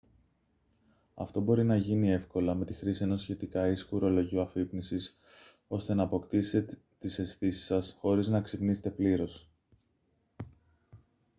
αυτό μπορεί να γίνει εύκολα με τη χρήση ενός σχετικά ήσυχου ρολογιού αφύπνισης ώστε να αποκτήσετε τις αισθήσεις σας χωρίς να ξυπνήσετε πλήρως